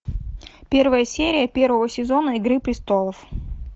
первая серия первого сезона игры престолов